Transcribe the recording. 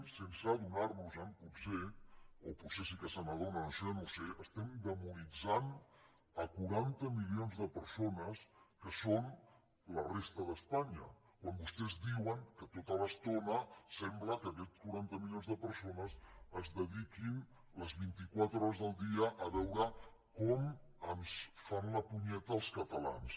sense adonar nos en potser o potser sí que se n’adonen això jo no ho sé estem demonitzant a quaranta milions de persones que són la resta d’espanya quan vostès diuen tota l’estona sembla que aquests quaranta milions de persones es dediquin les vint i quatre hores del dia a veure com ens fan la punyeta els catalans